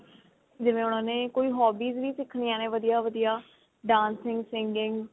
ਜਿਵੇਂ ਉਹਨਾ ਨੇ ਕੋਈ hobbies ਵੀ ਸਿੱਖਣੀਆਂ ਨੇ ਵਧੀਆ ਵਧੀਆ dancing singing